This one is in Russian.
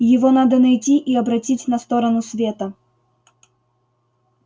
его надо найти и обратить на сторону света